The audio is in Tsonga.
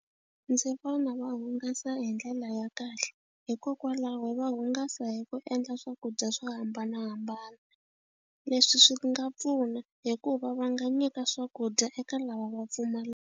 Ndzi vona va hungasa hi ndlela ya kahle hikokwalaho va hungasa hi ku endla swakudya swo hambanahambana leswi swi nga pfuna hikuva va nga nyika swakudya eka lava va pfumalaka.